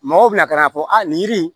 Mɔgɔw bɛna ka na fɔ a nin yiri in